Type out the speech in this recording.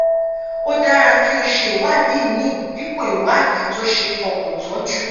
ó dára kí o ṣe ìwádìí mri dípò ìwádìí ct ó ṣeé fọkàn tán jù